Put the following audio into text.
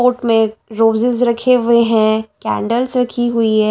Court में roses रखे हुए हैं कैंडल्स रखी हुई है।